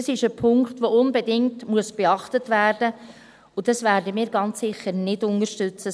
Das ist ein Punkt, der unbedingt beachtet werden muss, und das werden wir ganz sicher nicht unterstützen.